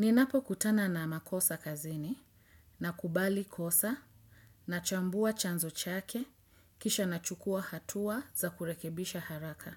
Ninapokutana na makosa kazini nakubali kosa nachambua chanzo chake kisha nachukua hatua za kurekebisha haraka.